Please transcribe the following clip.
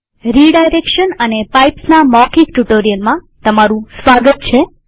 redirection અને પાઈપ્સના મૌખિક ટ્યુ્ટોરીઅલમાં સ્વાગત છે